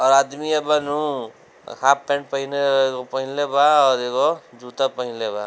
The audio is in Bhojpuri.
और आदमी अब नु हाफ पैंट पहिने पहिनले बा और एगो जुता पहिनले बा।